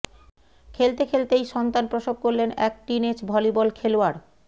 খেলতে খেলতেই সন্তান প্রসব করলেন এক টিনএজ ভলিবল খেলোয়াড়